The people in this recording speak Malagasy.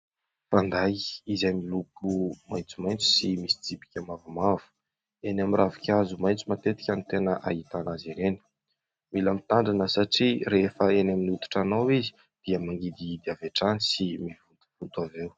Fanday izay miloko maitsomaitso sy misy tsipika mavomavo. Eny amin'ny ravinkazo maitso matetika ny tena ahitana azy ireny. Mila mitandrina satria rehefa eny amin'ny hoditra anao izy dia mangidihidy avy hatrany sy mivontovonto avy eo.